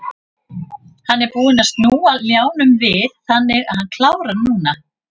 Hann er búinn að snúa ljánum við þannig að hann klárar núna.